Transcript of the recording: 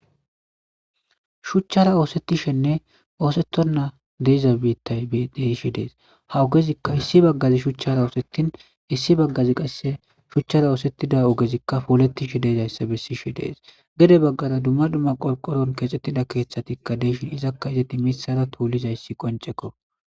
shuchchara oosettishenne oosettonna deiza biittay de'ishi dees hawogezia issi baggazi shuchchara oosettin issi baggazi qasse shuchchara oosettida ogezikka poolettishe deezayssa bessishe dees gede baggaza dumma dumma qolqoron keexxettida keeththatikka deyshin izakka izeti misara tuulizayssi qoncekko